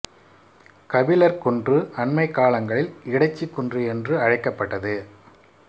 கபிலர் குன்று அண்மைக் காலங்களில் இடைச்சி குன்று என்று அழைக்கப்பட்டது